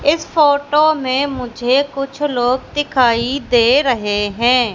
इस फोटो में मुझे कुछ लोग दिखाई दे रहे हैं।